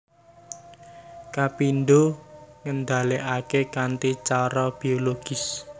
Kapindho ngendhalèkaké kanthi cara bologis